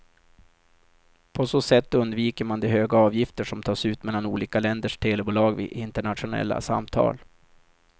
På så sätt undviker man de höga avgifter som tas ut mellan olika länders telebolag vid internationella samtal.